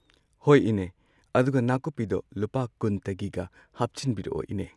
ꯍꯣꯏ ꯏꯅꯦ ꯑꯗꯨꯒ ꯅꯥꯀꯨꯞꯄꯤꯗꯣ ꯂꯨꯄꯥ ꯀꯨꯟꯇꯒꯤꯒ ꯍꯥꯞꯆꯟꯕꯤꯔꯛꯑꯣ ꯏꯅꯦ꯫